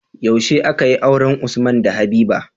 Yaushe akayi auren usman da habiba?